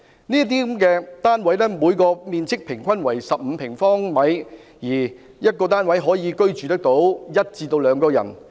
這些單位的平均面積為15平方米，每個單位可以居住約1至2人。